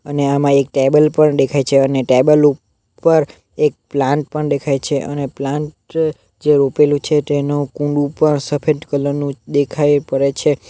અને આમાં એક ટેબલ પણ દેખાઈ છે અને ટેબલ ઉ પર એક પ્લાન્ટ પણ દેખાઈ છે અને પ્લાન્ટ જે રોપેલું છે તેનું કુંડુ પણ સફેદ કલર નું દેખાઈ પડે છે.